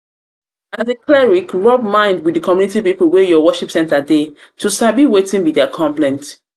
as a cleric rub mind with di community pipo wey your worship center dey to sabi wetin be wetin be their complaints